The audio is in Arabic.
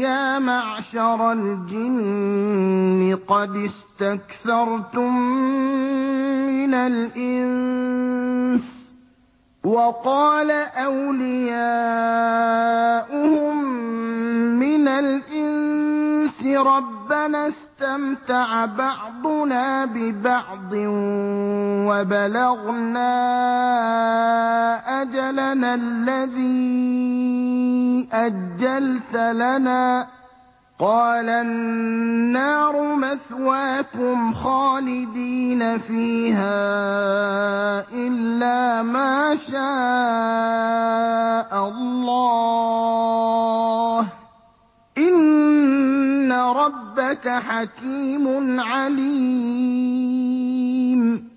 يَا مَعْشَرَ الْجِنِّ قَدِ اسْتَكْثَرْتُم مِّنَ الْإِنسِ ۖ وَقَالَ أَوْلِيَاؤُهُم مِّنَ الْإِنسِ رَبَّنَا اسْتَمْتَعَ بَعْضُنَا بِبَعْضٍ وَبَلَغْنَا أَجَلَنَا الَّذِي أَجَّلْتَ لَنَا ۚ قَالَ النَّارُ مَثْوَاكُمْ خَالِدِينَ فِيهَا إِلَّا مَا شَاءَ اللَّهُ ۗ إِنَّ رَبَّكَ حَكِيمٌ عَلِيمٌ